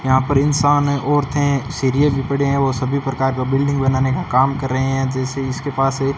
यहां पर इंसान है औरते है सीढ़िए भी पड़े हैं वो सभी प्रकार का बिल्डिंग बनाने का काम कर रहे हैं जैसे इसके पास एक--